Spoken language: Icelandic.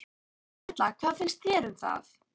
Erla: Hvað finnst þér um það?